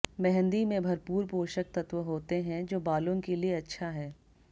मेहंदी में भरपूर पोषक तत्व होते हैं जो बालों के लिए अच्छा है